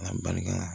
An barika